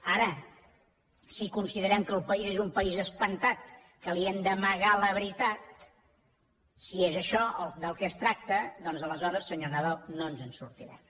ara si considerem que el país és un país espantat que li hem d’amagar la veritat si és això del que es tracta doncs aleshores senyor nadal no ens en sortirem